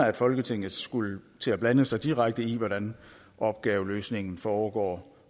at folketinget skulle til at blande sig direkte i hvordan opgaveløsningen foregår